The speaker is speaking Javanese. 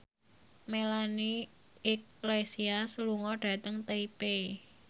Melanie Iglesias lunga dhateng Taipei